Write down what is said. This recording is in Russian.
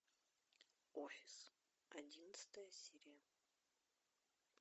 офис одиннадцатая серия